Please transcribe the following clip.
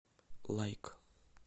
лайк